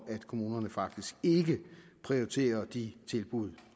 at kommunerne faktisk ikke prioriterer de tilbud